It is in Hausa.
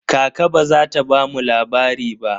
Kaka ba za ta bamu labari ba.